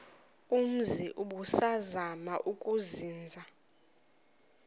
umzi ubusazema ukuzinza